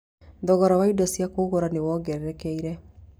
Thogora wa indo cia kũruga nĩ wongererekete